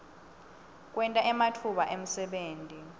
kwenta ematfuba emsebenti